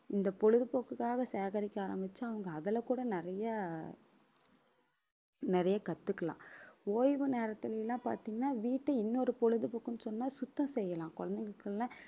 இந்த பொழுதுபோக்குக்காக சேகரிக்க ஆரம்பிச்சா அவங்க அதுல கூட நிறைய நிறைய கத்துக்கலாம் ஓய்வு நேரத்துல எல்லாம் பாத்தீங்கன்னா வீட்டை இன்னொரு பொழுதுபோக்குன்னு சொன்னா சுத்தம் செய்யலாம் குழந்தைகளுக்குள்ள